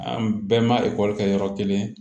An bɛɛ ma ekɔli kɛ yɔrɔ kelen